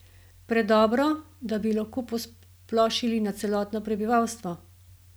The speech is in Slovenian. Predobro, da bi lahko posplošili na celotno prebivalstvo?